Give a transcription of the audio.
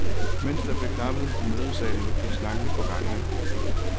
Mens der blev klappet i mødesalen gik snakken på gangene.